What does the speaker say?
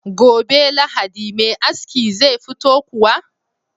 Gobe lahadi Me aski zai fito kuwa?